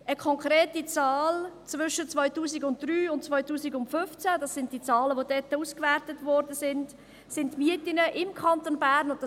Laut einer konkreten Zahl aus den Jahren 2003 und 2015 – das sind die Zahlen, welche ausgewertet wurden – sind die Mieten im Kanton Bern um 11.9 Prozent gestiegen;